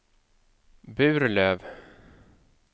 Burlöv